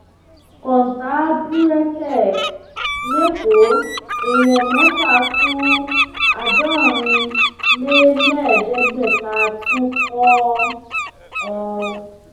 kọńtà búrẹkẹ lẹkọọ èèyàn mẹfà kú àádọrin lé lẹẹẹdẹgbẹta tún kọ ọ